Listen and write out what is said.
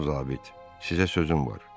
Cənab zabit, sizə sözüm var.